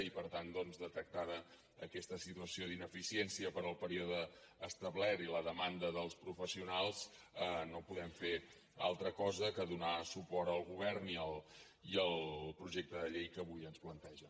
i per tant doncs detectada aquesta situació d’ineficiència per al període establert i la demanda dels professionals no podem fer altra cosa que donar suport al govern i al projecte de llei que avui ens plantegen